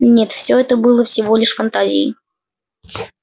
нет все это было всего лишь фантазией